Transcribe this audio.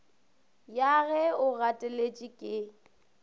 ya ge o gateletše ke